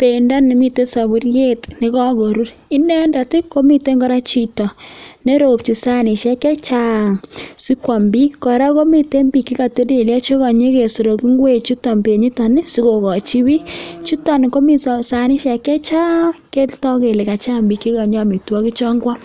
bendo ne miten soburiet nekagorur. Inendet ii komiten kora chito ne ropchin sanishek che chang! Si kwom biik. Kora komiten bik che ko telelyo che konye kesork ingwechuton benyiton sikogochi biik. Chuton komi sanishek che chang! Ko togu kele ka chang biik che konye omitwogichon kwam.